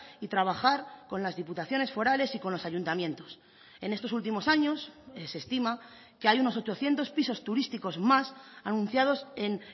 y trabajar con las diputaciones forales y con los ayuntamientos en estos últimos años se estima que hay unos ochocientos pisos turísticos más anunciados en